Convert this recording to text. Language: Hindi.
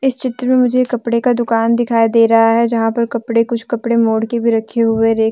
इस चित्र में मुझे कपड़े का दुकान दिखाई दे रहा है यहां पर कपड़े कुछ कपड़े मोड़ के भी रखे हुए रेक ।